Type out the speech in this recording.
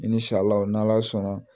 I ni sariw n'ala sɔnna